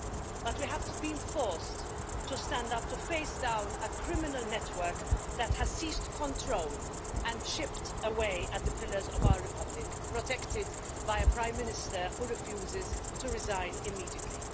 But we have been forced to stand up to face down a criminal network that has seized control and chipped away at the pillars of our republic, protected by a Prime Minister who refuses to resign immediately.